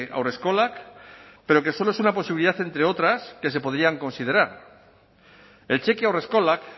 haurreskolak pero que solo es una posibilidad entre otras que se podrían considerar el cheque haurreskolak